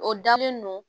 O dalen no